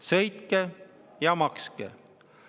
Sõitke ja makske!